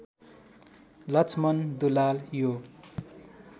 लक्ष्मन दुलाल यो